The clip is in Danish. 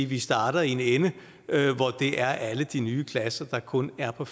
vi starter i en ende hvor det er alle de nye klasser der kun er på